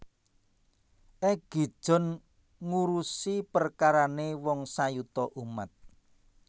Egi John ngurusi perkarane wong sayuta umat